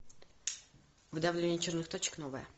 выдавливание черных точек новое